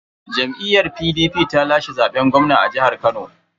Jam'iyyar PDP ce ta lashe zaben gwamna a jihar Kano.